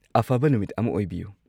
ꯑꯐꯕ ꯅꯨꯃꯤꯠ ꯑꯃ ꯑꯣꯏꯕꯤꯌꯨ꯫